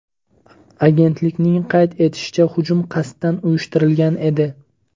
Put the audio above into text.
Agentlikning qayd etishicha, hujum qasddan uyushtirilgan edi.